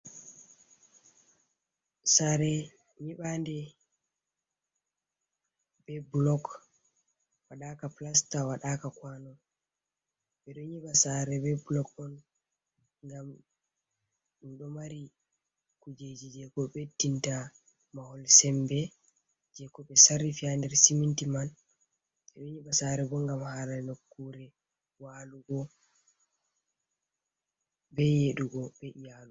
Sare nyibande be blog waɗaka plasta, waɗaka kwano, ɓeɗo nyiɓa sare be blog’on ngam ɗum ɗo mari kujeji jeko ɓe dinta mahol sembe je ko ɓe sarrifa nder siminti man, ɓeɗo nyiɓa sare bo ngam hala nokkure walugo, be yeɗugo be iyalu.